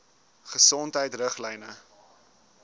gesondheidriglyne